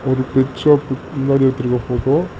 ஒரு பெட் ஷாப்கு முன்னாடி எடுத்துருக்க போட்டோ .